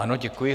Ano, děkuji.